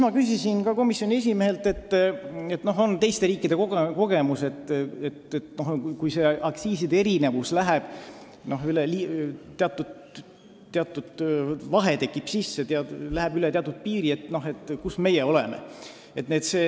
Ma küsisin komisjoni esimehelt ka selle kohta kommentaari, et teiste riikide kogemus näitab, et kui aktsiiside erinevus läheb liiga suureks, läheb üle teatud piiri, siis tekib elav piirikaubandus.